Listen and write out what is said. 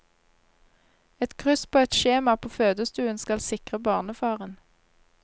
Et kryss på et skjema på fødestuen skal sikre barnefaren.